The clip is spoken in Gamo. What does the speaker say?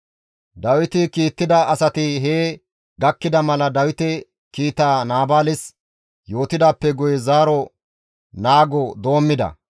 Dawiti kiittida asati hee gakkida mala Dawite kiitaa Naabaales yootidaappe guye zaaro naago doommida.